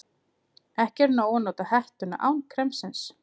Ekki er nóg að nota hettuna án kremsins.